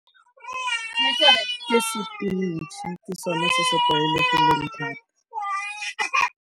Ke sepinatšhe, ke sone se se tlwaelegileng thata.